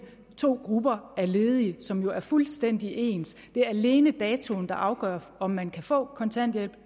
to grupper af ledige som jo er fuldstændig ens det er alene datoen der afgør om man kan få kontanthjælp